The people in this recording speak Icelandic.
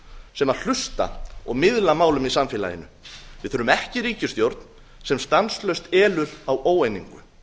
sem hlusta og miðla málum í samfélaginu við þurfum ekki ríkisstjórn sem stanslaust elur á óeiningu